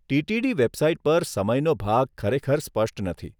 TTD website પર સમયનો ભાગ ખરેખર સ્પષ્ટ નથી.